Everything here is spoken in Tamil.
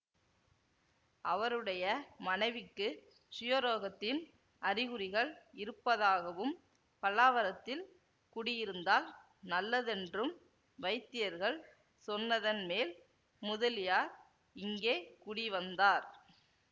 அவருடைய மனைவிக்கு க்ஷயரோகத்தின் அறிகுறிகள் இருப்பதாகவும் பல்லாவரத்தில் குடியிருந்தால் நல்லதென்றும் வைத்தியர்கள் சொன்னதன்மேல் முதலியார் இங்கே குடி வந்தார்